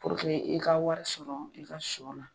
Puruke i ka wari sɔrɔ i ka sɔ la